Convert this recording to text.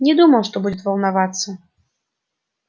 не думал что будет волноваться